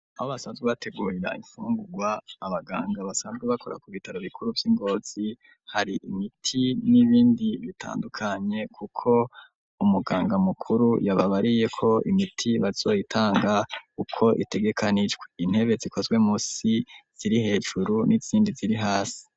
Aho basanzwe bategurira ifungurwa abaganga basanzwe bakora ku bitaro bikuru vy'ingozi hari imiti n'ibindi bitandukanye kuko umuganga mukuru yababariye ko imiti bazoyitanga uko itegekanijwe, intebe zikozwe munsi ziri hejuru n'izindi ziri hasi.